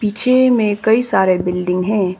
पीछे में कई सारे बिल्डिंग हैं।